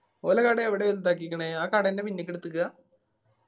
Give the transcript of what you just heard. ഓലെ കട എവിടാ വലുതാക്കിക്കണ് ആ കട എന്നെ പിന്നീക്ക് എടതിക്ക?